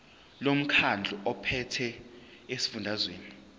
lomkhandlu ophethe esifundazweni